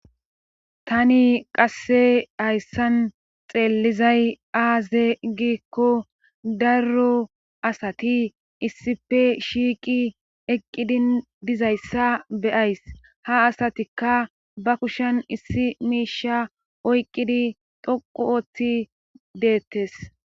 Tani qasse hayssan xeellizay aaze gikko darro asati issife shiiqi eqqidin dizayssa beyays ha asatikka ba kushen issi miisha oyqqidi doqu oothi deettes.